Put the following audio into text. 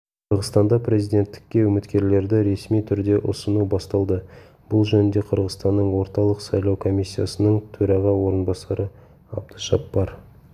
қырғызстанда президенттікке үміткерлерді ресми түрде ұсыну басталды бұл жөнінде қырғызстанның орталық сайлау комиссиясының төраға орынбасары абдыжаппар